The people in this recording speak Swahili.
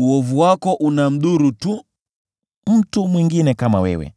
Uovu wako unamdhuru tu mtu mwingine kama wewe,